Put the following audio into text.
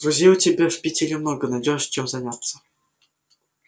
друзей у тебя в питере много найдёшь чем заняться